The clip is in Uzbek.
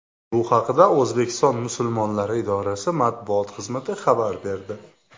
Bu haqda O‘zbekiston musulmonlari idorasi matbuot xizmati xabar berdi.